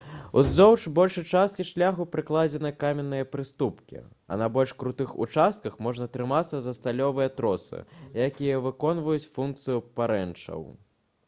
уздоўж большай часткі шляху пракладзены каменныя прыступкі а на больш крутых участках можна трымацца за сталёвыя тросы якія выконваюць функцыю парэнчаў